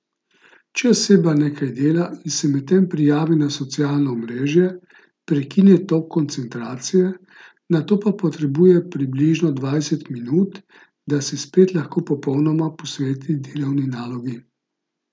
Če oseba nekaj dela in se medtem prijavi na socialno omrežje, prekine tok koncentracije, nato pa potrebuje približno dvajset minut, da se spet lahko popolnoma posveti delovni nalogi.